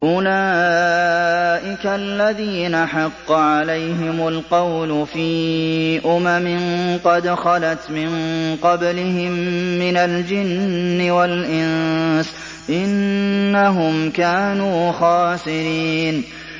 أُولَٰئِكَ الَّذِينَ حَقَّ عَلَيْهِمُ الْقَوْلُ فِي أُمَمٍ قَدْ خَلَتْ مِن قَبْلِهِم مِّنَ الْجِنِّ وَالْإِنسِ ۖ إِنَّهُمْ كَانُوا خَاسِرِينَ